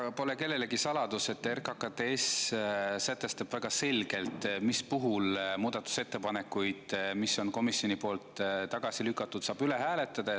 Ega pole kellelegi saladus, et RKKTS sätestab väga selgelt, mis puhul muudatusettepanekuid, mis on komisjoni poolt tagasi lükatud, saab üle hääletada.